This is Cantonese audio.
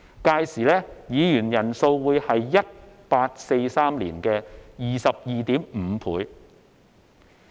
屆時議員人數會是1843年的 22.5 倍。